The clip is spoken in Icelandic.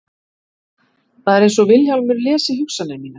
Það er einsog Vilhjálmur lesi hugsanir mínar.